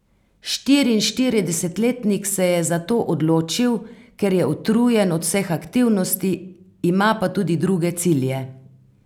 Štiriinštiridesetletnik se je za to odločil, ker je utrujen od vseh aktivnosti, ima pa tudi druge cilje.